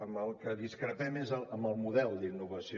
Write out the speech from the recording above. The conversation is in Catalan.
en el que discrepem és en el model d’innovació